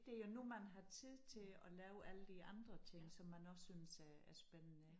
Det jo nu man har tid til at lave alle de andre ting som man også synes er er spændende